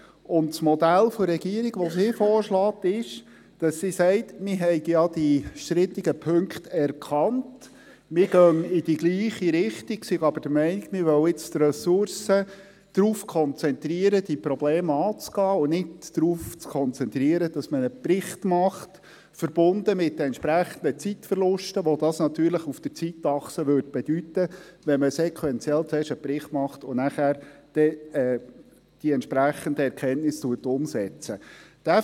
Das Modell, das die Regierung vorschlägt, ist, dass sie sagt, man habe ja die strittigen Punkte erkannt, man gehe in die gleiche Richtung, sei aber der Meinung, man wolle nun die Ressourcen darauf konzentrieren, diese Probleme anzugehen und sich nicht darauf konzentrieren, einen Bericht zu machen, verbunden mit den entsprechenden Zeitverlusten, die das natürlich auf der Zeitachse bedeuten würde, wenn man sequentiell zuerst einen Bericht machen und die entsprechenden Erkenntnisse nachher umsetzen würde.